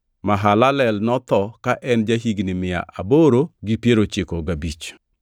Mahalalel notho kane en ja-higni mia aboro gi piero ochiko gabich.